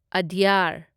ꯑꯗ꯭ꯌꯥꯔ